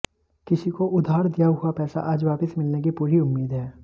किसी को उधार दिया हुआ पैसा आज वापस मिलने की पूरी उम्मीद है